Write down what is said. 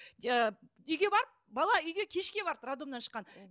иә үйге барып бала үйге кешке барды роддомнан шыққан